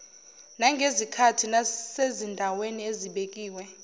nangezikhathi nasezindaweni ezibekiwe